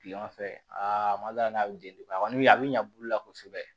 Kileman fɛ aa ma da n'a bɛ deli a kɔni a be ɲa bulu la kosɛbɛ